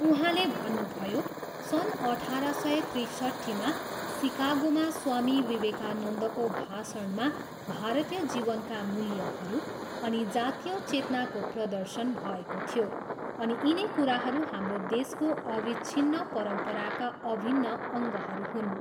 उहाँले भन्नुभयो, सन् अठार सय त्रिसट्ठीमा सिकागोमा स्वामी विवेकानन्दको भाषणमा भारतीय जीवनका मूल्यहरू अनि जातिय चेतनाको प्रर्दशन भएको थियो अनि यिनै कुराहरू हाम्रो देशको अविच्छिन्न परम्पराका अभिन्न अङ्गहरू हुन्।